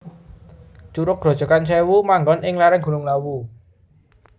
Curug Grojogan Sèwu manggon ing lèrèng Gunung Lawu